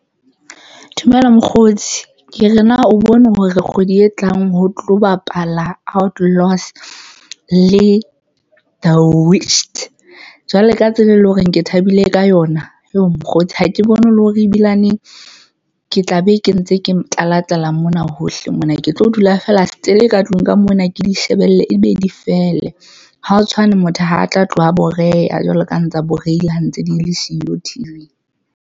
Dumela mokgotsi ke re na o bone hore kgwedi e tlang ho tlo bapala Outlaws le The witches jwale ka tsela e leng hore ke thabile ka yona yoh! mokgotsi ha ke bone le hore ebilane ke tla be ke ntse ke tlala tlala mona hohle mona ke tlo dula fela setele ka tlung ka mona ke di shebelle ebe di fele. Ha o tshwane, motho ha atla tloha boreya jwalo ka ha ntsa borehile ha ntse di le siyo T_V-ng.